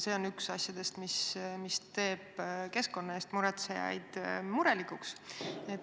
See on üks neist asjadest, mis teeb keskkonna pärast muretsejaid murelikuks.